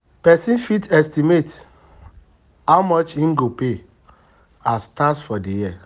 Person fit estimate how much im go pay as tax for di year